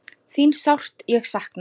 Þín sárt ég sakna.